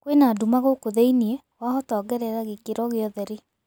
kwĩna ndũma guku thĩĩni wahota ongerera gĩkĩro gia ũtherĩ